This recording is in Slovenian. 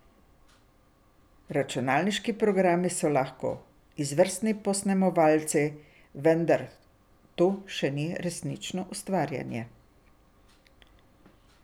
Računalniški programi so lahko izvrstni posnemovalci, vendar to še ni resnično ustvarjanje.